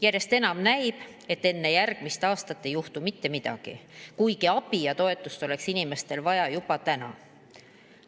Järjest enam näib, et enne järgmist aastat ei juhtu mitte midagi, kuigi abi ja toetust oleks inimestel vaja juba täna.